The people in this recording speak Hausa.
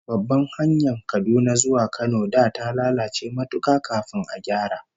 Babbar hanyar Kaduna zuwa Kano da ta lalace matuka kafin a gyara